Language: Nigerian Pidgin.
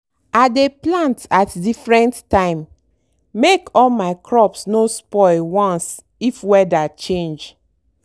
i dey plant at different time make all my crops no spoil once if weather change.